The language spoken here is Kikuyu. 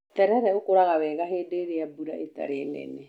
Terere ũkũraga wega hĩndĩ ĩrĩa mbura ĩtarĩ nene.